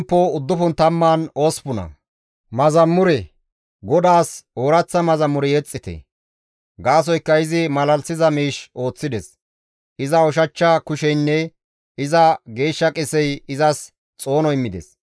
GODAAS ooraththa mazamure yexxite; gaasoykka izi malalisiza miish ooththides; iza ushachcha kusheynne iza geeshsha qesey izas xoono immides.